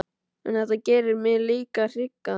En þetta gerir mig líka hrygga.